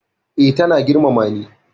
Eh, ta na girmama ni